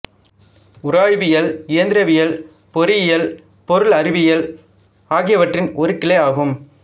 உராய்வியல் இயந்திரவியல் பொறியியல் பொருளறிவியல் ஆகியவற்றின் ஒரு கிளை ஆகும்